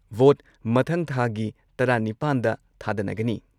Vote ꯃꯊꯪ ꯊꯥꯒꯤ ꯇꯔꯥ ꯅꯤꯄꯥꯟꯗ ꯗ ꯊꯥꯗꯅꯒꯅꯤ ꯫